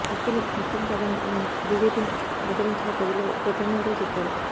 వ్యక్తులు ముఖ్యం కాదన్న ఆయన బీజేపీని ఆదరించిన ప్రజలకు కృతజ్ఙతలు చెప్పారు